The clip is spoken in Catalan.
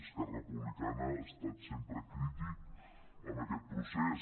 esquerra republicana ha estat sempre crític amb aquest procés